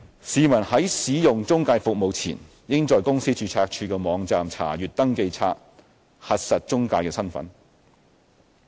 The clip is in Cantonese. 市民在使用中介服務前，應在公司註冊處的網站查閱登記冊，核實中介的身份。